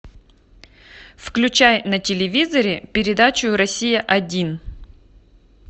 включай на телевизоре передачу россия один